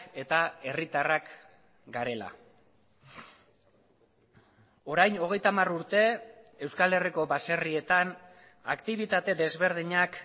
eta herritarrak garela orain hogeita hamar urte euskal herriko baserrietan aktibitate desberdinak